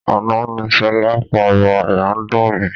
Àná ni sọlá ń pariwo "àyà ń dùn mí".